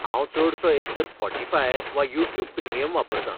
हांव चडसो एकतर स्पॉटीफाय वा यूट्यूब प्रिमियम वापरतां.